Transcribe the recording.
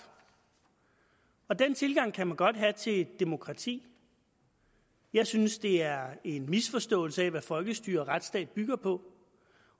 og den tilgang kan man godt have til demokrati jeg synes det er en misforståelse af hvad folkestyre og retsstat bygger på